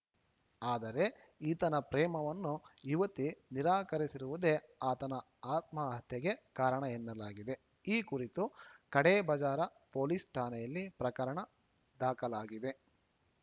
ಆದರೆ ಈತನ ಪ್ರೇಮವನ್ನು ಯುವತಿ ನಿರಾಕರಿಸಿರುವುದೇ ಆತನ ಆತ್ಮಹತ್ಯೆಗೆ ಕಾರಣ ಎನ್ನಲಾಗಿದೆ ಈ ಕುರಿತು ಖಡೆಬಜಾರ ಪೊಲೀಸ್‌ ಠಾಣೆಯಲ್ಲಿ ಪ್ರಕರಣ ದಾಖಲಾಗಿದೆ